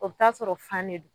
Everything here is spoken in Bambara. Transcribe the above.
Ɔ be taa'a sɔrɔ fan de d